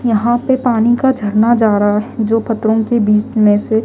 यहां पे पानी का झरना जा रहा है जो पत्थरों के बीच में से --